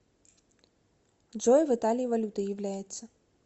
джой в италии валютой является